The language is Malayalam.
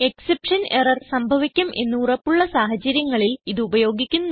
എക്സെപ്ഷൻ എറർ സംഭവിക്കും എന്ന് ഉറപ്പുള്ള സാഹചര്യങ്ങളിൽ ഇത് ഉപയോഗിക്കുന്നു